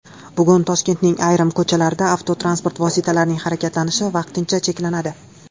Bugun Toshkentning ayrim ko‘chalarida avtotransport vositalarining harakatlanishi vaqtincha cheklanadi.